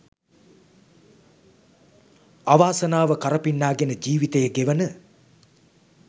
අවාසනාව කරපින්නා ගෙන ජීවිතය ගෙවන